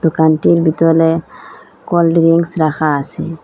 দোকানটির বিতলে cold drinks রাখা আসে।